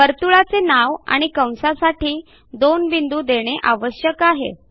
वर्तुळाचे नाव आणि कंसासाठी दोन बिंदू देणे आवश्यक आहे